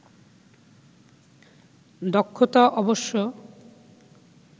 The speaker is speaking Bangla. দক্ষতা অবশ্য